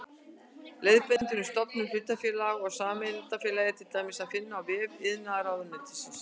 Leiðbeiningar um stofnun hlutafélaga og sameignarfélaga er til dæmis að finna á vef iðnaðarráðuneytisins.